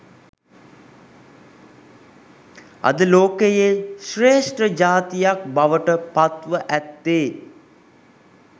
අද ලෝකයේ ශ්‍රේෂ්ඨ ජාතියක් බවට පත්ව ඇත්තේ